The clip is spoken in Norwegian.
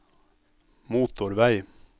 motorvei